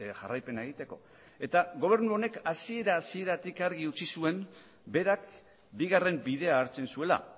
jarraipena egiteko eta gobernu honek hasiera hasieratik argi utzi zuen berak bigarren bidea hartzen zuela